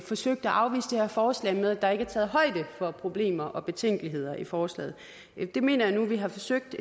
forsøgt at afvise det her forslag med at der ikke er taget højde for problemer og betænkeligheder i forslaget det mener jeg nu vi har forsøgt